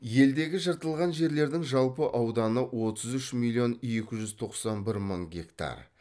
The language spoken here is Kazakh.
елдегі жыртылған жерлердің жалпы ауданы отыз үш миллион екі жүз тоқсан бір мың гектар